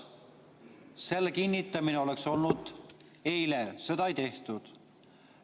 Selle kinnitamine oleks tulnud teha eile, seda ei tehtud.